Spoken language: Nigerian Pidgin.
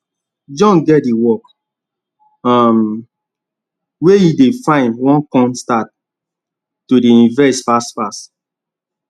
john get the work um wey he dey find wan con start to dey invest fast fast